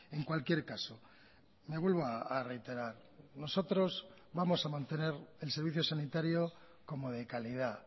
en cualquier caso me vuelvo a reiterar nosotros vamos a mantener el servicio sanitario como de calidad